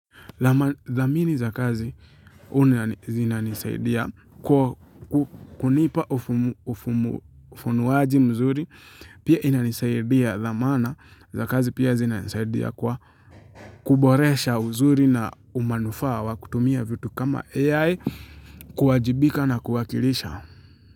Dhamini za kazi zinanisaidia kwa kunipa ufunuwaji mzuri pia inanisaidia dhamana za kazi pia zinanisaidia kwa kuboresha uzuri na umanufaa wa kutumia vitu kama AI kuwajibika na kuwakilisha.